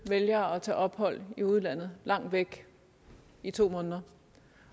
vælger at tage ophold i udlandet langt væk i to måneder